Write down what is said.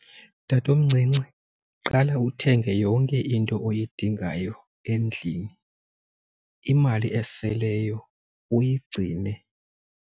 Tatomncinci, qala uthenge yonke into oyidingayo endlini, imali eseleyo uyigcine.